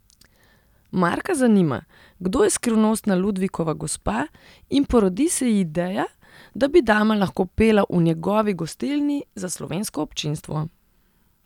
Marka zanima, kdo je skrivnostna Ludvikova gospa, in porodi se ji ideja, da bi dama lahko pela v njegovi gostilni, za slovensko občinstvo.